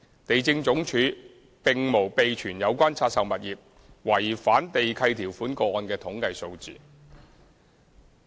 地政總署並無備存有關拆售物業違反地契條款個案的統計數字。